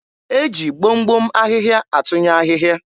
e ji gbom gbom ahịhịa atụnye ahịhịa.